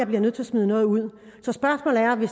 bliver nødt til at smide noget ud